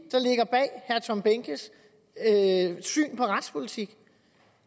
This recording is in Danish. er tom behnkes syn på retspolitik